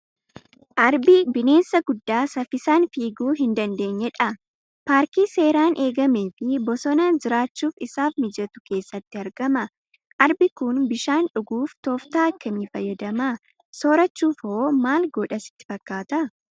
Arbi bineensa guddaa saffisaan fiiguu hin dandeenye dha. Paarkii seeraan eegamee fi bosona jiraachuuf isaaf mijatu keessatti argama. Arbi kun bishaan dhuguuf tooftaa akkamii fayyadama? Soorachuuf hoo maal godha sitti fakkaata?